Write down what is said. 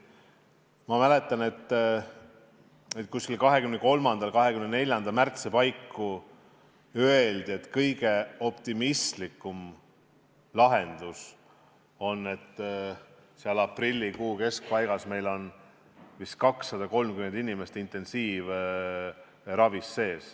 Ma mäletan, et 23. ja 24. märtsi paiku öeldi, et kõige optimistlikum lahendus on, et aprilli keskpaigas on meil vist 230 inimest intensiivravil.